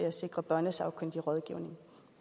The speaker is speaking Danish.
at sikre børnesagkyndig rådgivning